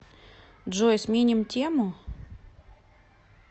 джой сменим тему